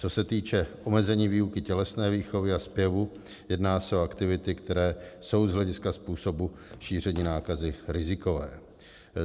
Co se týče omezení výuky tělesné výchovy a zpěvu, jedná se o aktivity, které jsou z hlediska způsobu šíření nákazy rizikové.